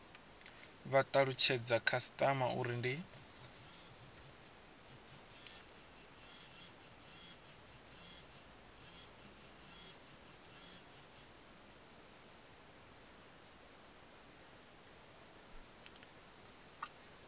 vha talutshedza khasitama uri ndi